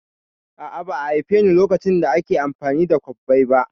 A'a, ba'a haifeni lokacin da ake amfani da kwabbai ba